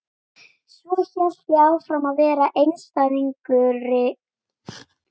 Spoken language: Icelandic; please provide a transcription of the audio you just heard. Svo hélt ég áfram að vera einstæðingur eins og ég hafði alltaf verið.